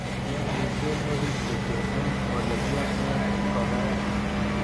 Kiamishen orit kityo eng olegiamen ngokaik